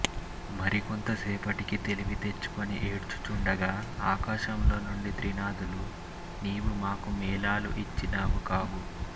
మరి కొంత సేపటికి తెలివి తెచ్చుకుని ఏడ్చు చుండగా ఆకాశములో నుండి త్రినాధులు నీవు మాకు మేళాలు ఇచ్చినావు కావు